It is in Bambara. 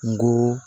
N go